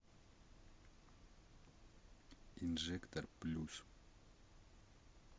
инжектор плюс